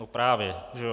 No právě, že jo!